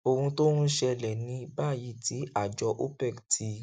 ohun tó ń ṣẹlè ní báyìí tí àjọ opec ti